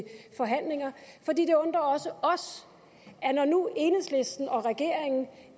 forhandlinger det undrer også os når nu enhedslisten og regeringen